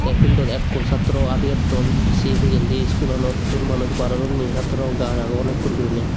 fieldot ekkur satro adi etton se pijendi iskulanottun manuj baar odonni satrogun gajch agon ekkur guriney.